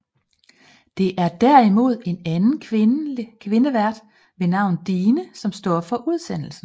Det er derimod en anden kvinde vært ved navn Dine som stå for udsendelsen